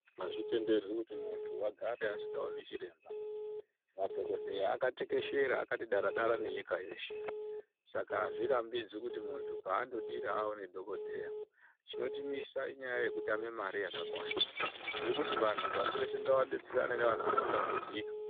Azvitenderwi kuti muntu agare vasikaoni chiremba madhokodheya atekeshera akati dara dara nenyika yeshe saka azvirambidzwi kuti muntu paandodira aone dhokodheya chinotimisa inyaya yekutame mare yakakwana tiri kuti vantu pashi reshe ngavadetserane nevanhu vanotambudzika.